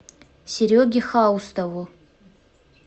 сереге хаустову